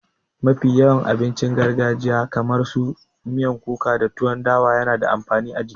Mafi yawan abincin gargajiya kamar su miyan kuka da tuwan dawa yana da amfani a jiki